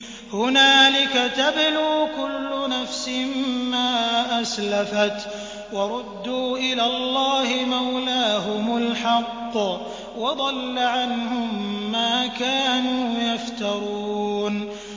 هُنَالِكَ تَبْلُو كُلُّ نَفْسٍ مَّا أَسْلَفَتْ ۚ وَرُدُّوا إِلَى اللَّهِ مَوْلَاهُمُ الْحَقِّ ۖ وَضَلَّ عَنْهُم مَّا كَانُوا يَفْتَرُونَ